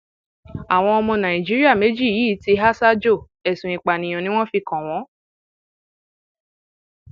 àwọn ọmọ nàìjíríà méjì yìí ti há sájò ẹsùn ìpànìyàn ni wọn fi kàn wọn